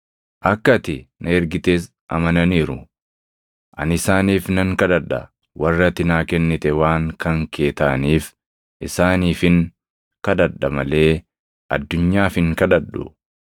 Ani isaaniif nan kadhadha. Warri ati naa kennite waan kan kee taʼaniif isaaniifin kadhadha malee addunyaaf hin kadhadhu.